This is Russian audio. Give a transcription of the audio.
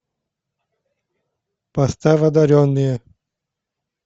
поставь одаренные